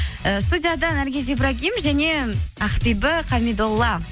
ііі студияда наргиз ибрагим және ақбибі хамидолла